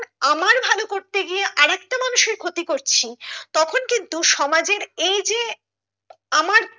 আমার ভালো করতে গিয়ে আরেকটা মানুষের ক্ষতি করছি তখন কিন্তু সমাজে এই যে আমার